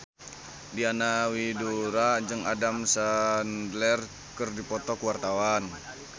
Diana Widoera jeung Adam Sandler keur dipoto ku wartawan